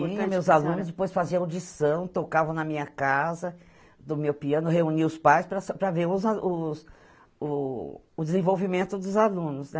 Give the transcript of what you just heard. Tinha meus alunos, depois faziam audição, tocavam na minha casa, no meu piano, reunia os pais para sa para ver o o o desenvolvimento dos alunos, né?